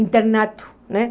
internato, né?